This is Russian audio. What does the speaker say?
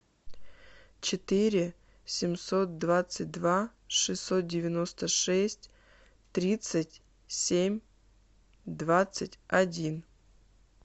четыре семьсот двадцать два шестьсот девяносто шесть тридцать семь двадцать один